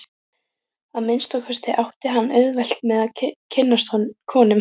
Að minnsta kosti átti hann auðvelt með að kynnast konum.